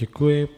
Děkuji.